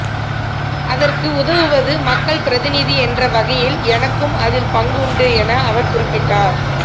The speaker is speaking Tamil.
அதற்கு உதவுவது மக்கள் பிரதிநிதி என்ற வகையில் எனக்கும் அதில் பங்குண்டு என அவர் குறிப்பிட்டார்